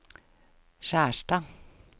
Skjerstad